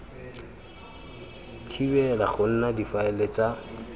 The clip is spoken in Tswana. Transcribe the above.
thibela go nna difaele tsa